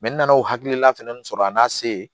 n nana o hakilina fɛnɛ sɔrɔ a n'a se ye